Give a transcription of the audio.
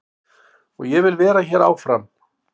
Og ég vil vera hér áfram.